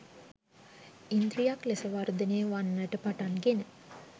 ඉන්ද්‍රියක් ලෙස වර්ධනය වන්නට පටන්ගෙන